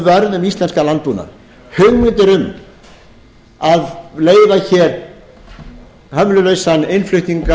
um íslenskan landbúnað hugmyndir um að leyfa hér hömlulausan innflutning